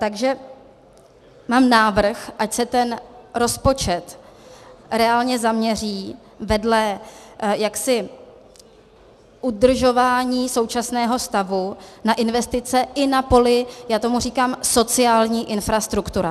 Takže mám návrh, ať se ten rozpočet reálně zaměří vedle jaksi udržování současného stavu na investice i na poli - já tomu říkám sociální infrastruktura.